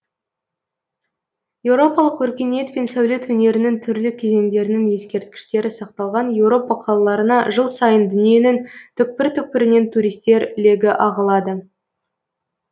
еуропалық өркениет пен сәулет өнерінің түрлі кезеңдерінің ескерткіштері сақталған еуропа қалаларына жыл сайын дүниенің түкпір түкпірінен туристер легі ағылады